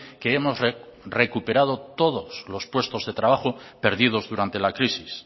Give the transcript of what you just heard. que hemos recuperado todos los puestos de trabajo perdidos durante la crisis